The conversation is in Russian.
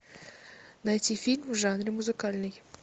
найти фильм в жанре музыкальный